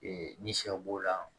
Ee ni sɛw b'o la